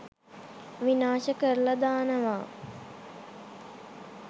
විනාශ කරලා දානවා.